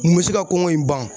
Mun bɛ se ka kɔngɔ in ban